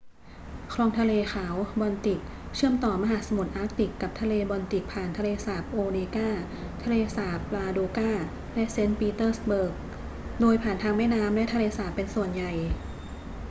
คลองทะเลขาว บอลติกเชื่อมต่อมหาสมุทรอาร์กติกกับทะเลบอลติกผ่านทะเลสาบโอเนกา ทะเลสาบลาโดกา และเซนต์ปีเตอร์สเบิร์ก โดยผ่านทางแม่น้ำและทะเลสาบเป็นส่วนใหญ่